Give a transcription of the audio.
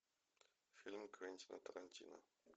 фильм квентина тарантино